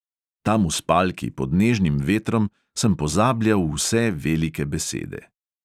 Tam v spalki pod nežnim vetrom sem pozabljal vse velike besede …